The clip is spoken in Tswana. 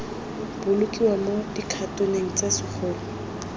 bolokiwa mo dikhatoneng tse segolo